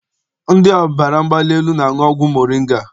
Ndị ọbara mgbali elu na-aṅụ ọgwụ moringa.